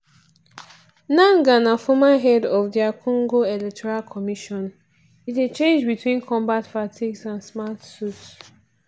nangaa na former head of dr congo electoral commission e dey change between combat fatigues and smart suits.